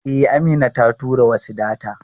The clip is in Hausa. E, Amina ta tura wasu data.